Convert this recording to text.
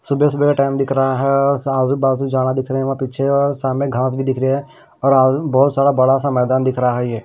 सुबह सुबह का टाइम दिख रहा है आज़ू बाज़ू जाड़ा दिख रहे वहां पीछे और सामने घांस भी दिख रही है और बहुत सारा बरा सा मैदान दिख रहा है ये।